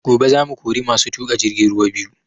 Gobe za mu kori masu tuƙa jirgin ruwa biyu